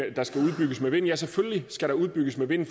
at der skal udbygges med vind ja selvfølgelig skal der udbygges med vind